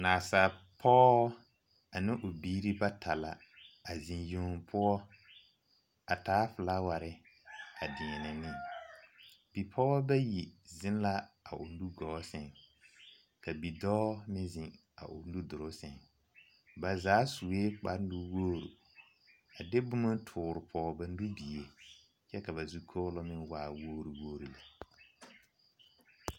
Naasaalpɔge ane o biiri bata la a zeŋ yeŋ poɔ a taa filaaware a deɛnɛ ne bipɔgeba bayi zeŋ la a o nugɔɔ sɛŋ ka bidɔɔ meŋ zeŋ a o nudoloŋ sɛŋ ba zaa sue kparenuwogre a de boma a toore pɔge ba nubie kyɛ ka ba zu kɔɔlɔŋ meŋ waa wogre wogre lɛ.